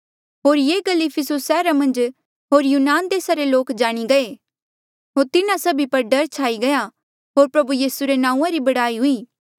होर ये गल इफिसुस सैहरा मन्झ यहूदी लोक होर यूनान देसा रे लोक जाणी गये होर तिन्हा सभी पर डर छाई गया होर प्रभु यीसू रे नांऊँआं री बड़ाई हुई